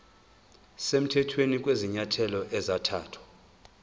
semthethweni kwezinyathelo ezathathwa